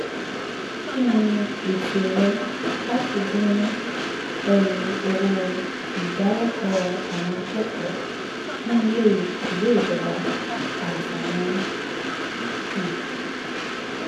kí ni ètò rẹ láti dín ẹrù owó ìdálẹ́kọ̀ọ́ àwọn akẹ́kọ̀ọ́ ní ilé ìwé ìjọba àtàwọn um